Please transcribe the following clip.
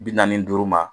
Bi naani ni duuru ma